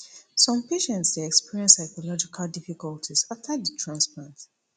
some patients dey experience psychological difficulties afta di transplant